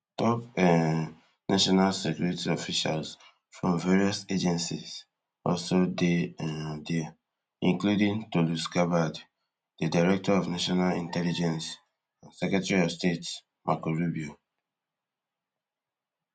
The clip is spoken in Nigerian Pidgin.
top um national security officials from various agencies also dey um dia including tulsi gabbard di director of national intelligence and secretary of state marco rubio